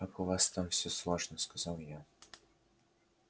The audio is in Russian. как у вас там всё сложно сказала я